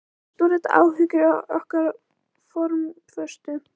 Mest voru þetta áhyggjur af okkar formföstu